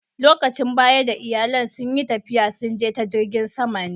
Lokacin baya da iyallin sun yi tafiya, sun je ta jirigin sama ne.